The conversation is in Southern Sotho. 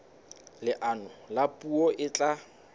leano la puo e tla